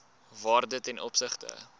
waarde ten opsigte